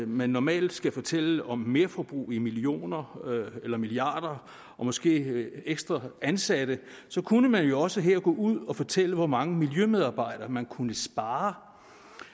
man normalt skal fortælle om merforbrug i millioner eller milliarder og måske ekstra ansatte kunne man jo også her gå ud og fortælle hvor mange miljømedarbejdere man kunne spare